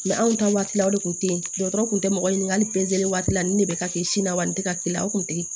anw ta waati la o de kun teyi dɔgɔtɔrɔw kun tɛ mɔgɔ ɲiniŋali waati la nin de bɛ ka kɛ sini na wa nin tɛ ka k'i la o kun tɛ